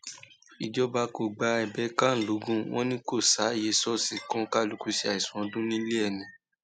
ìjọba kò gba ẹbẹ can logun wọn ni kò sáàyè ṣọọṣì kọkànlukú ṣe àìsùn ọdún nílé ẹ ni